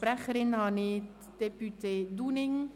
Sprecherin ist Grossrätin Dunning.